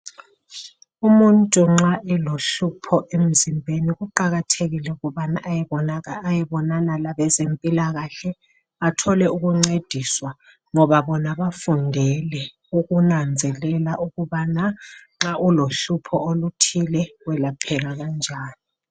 Umuntu nxa elomhlupho emzimbeni kuqakathekile ukubana ayebonana labezempilakahle athole ukuncediswa ngoba bona bafundele ukunanzelela ukubana nxa ulohlupho oluthile welapheka kanjani